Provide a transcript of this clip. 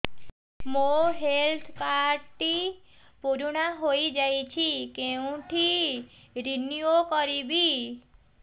ମୋ health card ଟି ପୁରୁଣା ହେଇଯାଇଛି କେଉଁଠି ରିନିଉ କରିବି